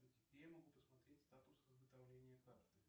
где я могу посмотреть статус изготовления карты